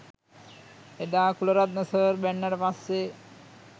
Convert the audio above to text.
එදා කුලරත්න සර් බැන්නට පස්සෙ